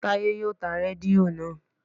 Táyé yóò ta rédíò naa